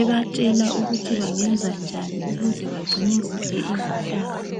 ebatshela ukuthi bangenza njani ukuze bagcine kuhle izihlahla.